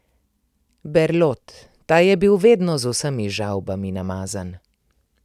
Berlot, ta je bil vedno z vsemi žavbami namazan.